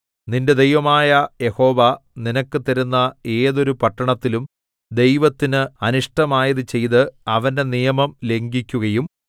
നിന്റെ ദൈവമായ യഹോവ നിനക്ക് തരുന്ന ഏതൊരു പട്ടണത്തിലും ദൈവത്തിന് അനിഷ്ടമായത് ചെയ്ത് അവന്റെ നിയമം ലംഘിക്കുകയും